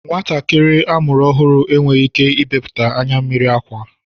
Nwatakịrị a mụrụ ọhụrụ enweghị ike ibepụta anyammiri akwa